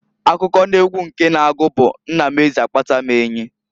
Akụkọ n'egwu nke na-agu bu Nna m Eze akpata m enyi.